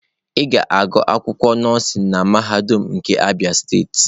Ị ga-agụ akwụkwọ nọọsụ na mahadum nke Abia steeti.